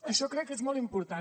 això crec que és molt important